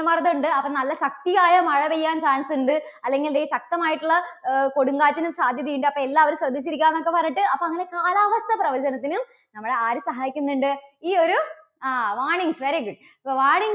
മർദ്ദം ഉണ്ട്. അപ്പോ നല്ല ശക്തിയായ മഴ പെയ്യാൻ chance ഉണ്ട്. അല്ലെങ്കിൽ ദേ ശക്തമായിട്ടുള്ള അഹ് കൊടുങ്കാറ്റിന് സാധ്യതയുണ്ട്. അപ്പോൾ എല്ലാവരും ശ്രദ്ധിച്ചിരിക്കാ എന്നൊക്കെ പറഞ്ഞിട്ട്, അപ്പോൾ അങ്ങനെ കാലാവസ്ഥാ പ്രവചനത്തിനും നമ്മളെ ആരു സഹായിക്കുന്നുണ്ട് ഈ ഒരു ആ warnings, very good അപ്പോ warnings